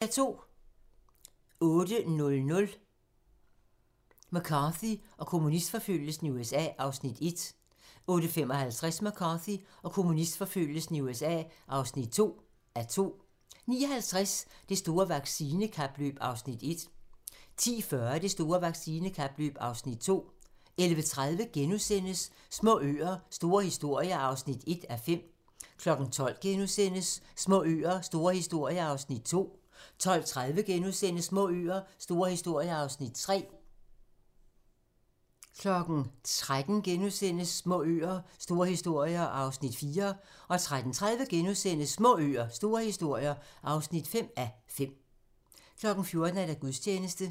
DR2